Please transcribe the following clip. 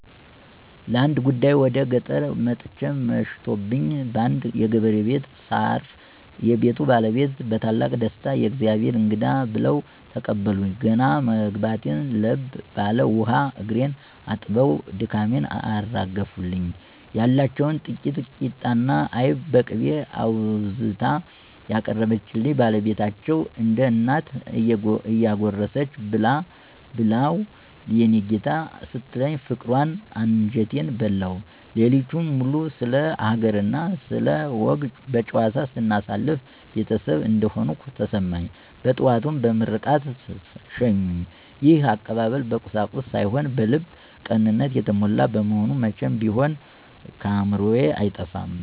ለአንድ ጉዳይ ወደ ገጠር ወጥቼ መሽቶብኝ በአንድ የገበሬ ቤት ሳርፍ፣ የቤቱ ባለቤት በታላቅ ደስታ "የእግዜር እንግዳ!" ብለው ተቀበሉኝ። ገና መግባቴ ለብ ባለ ውሃ እግሬን አጥበው ድካሜን አራገፉልኝ። ያለችውን ጥቂት ቂጣና አይብ በቅቤ አውዝታ ያቀረበችልኝ ባለቤታቸው፣ እንደ እናት እየጎረሰች "ብላው የኔ ጌታ" ስትለኝ ፍቅሯ አንጀቴን በላው። ሌሊቱን ሙሉ ስለ ሀገርና ስለ ወግ በጨዋታ ስናሳልፍ ቤተሰብ እንደሆንኩ ተሰማኝ። በጠዋቱም በምርቃት ሸኙኝ። ይሄ አቀባበል በቁሳቁስ ሳይሆን በልብ ቅንነት የተሞላ በመሆኑ መቼም ቢሆን ከአእምሮዬ አይጠፋም።